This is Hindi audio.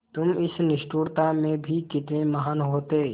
तुम इस निष्ठुरता में भी कितने महान् होते